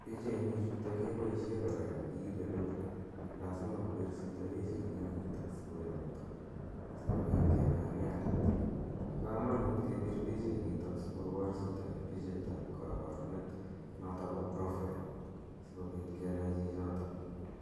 Pichainichutok kepaishe kora ya kiipe loan, lasima kopir chito pichait neu nitani sikoyakta asikopit kenai inendet. Pa kamanut kepir pichainitok asikopar chito is ng' pichait ap kaparunet notok ko profie asikopit kenai chichotok.